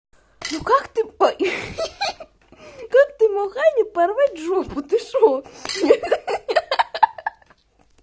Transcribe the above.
ну как ты ой хи-хи как ты мог ане порвать жопу ты что ха-ха